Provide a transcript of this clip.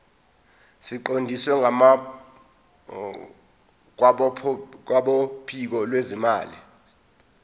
siqondiswe kwabophiko lwezimali